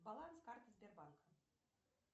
баланс карты сбербанка